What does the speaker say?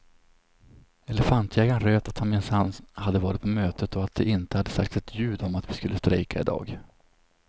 Elefantjägarn röt att han minsann hade varit på mötet och att det inte hade sagts ett ljud om att vi skulle strejka i dag.